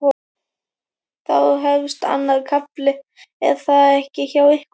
Þá þá hefst annar kafli er það ekki hjá ykkur?